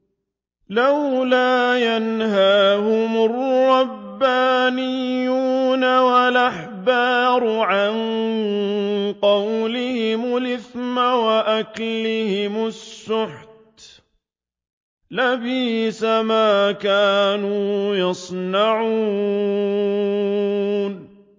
لَوْلَا يَنْهَاهُمُ الرَّبَّانِيُّونَ وَالْأَحْبَارُ عَن قَوْلِهِمُ الْإِثْمَ وَأَكْلِهِمُ السُّحْتَ ۚ لَبِئْسَ مَا كَانُوا يَصْنَعُونَ